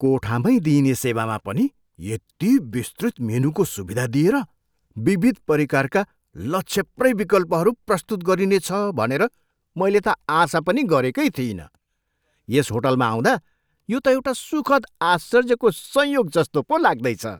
कोठा मै दिइने सेवामा पनि यति विस्तृत मेनुको सुविधा दिएर विविध परिकारका लछेप्रै विकल्पहरू प्रस्तुत गरिनेछ भनेर मैले त आशा पनि गरेकै थिइनँ। यस होटलमा आउँदा यो त एउटा सुखद आश्चर्यको संयोग जस्तो पो लाग्दैछ।